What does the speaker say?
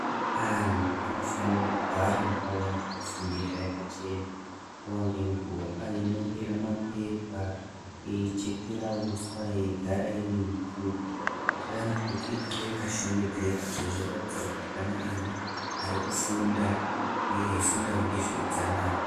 Anhu anofanire kugara ndau yaanofundira yakachena nguwa ngenguwa. Ainongera mapepa, eichekera uswa yeigara iri upfupi kuti igare yakashongedzeka izvo zvoratidza kuti pane ana arikufunda huye eifundawo ngezveutsanana.